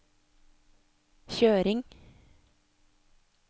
kjøring